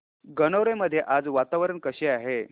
गणोरे मध्ये आज वातावरण कसे आहे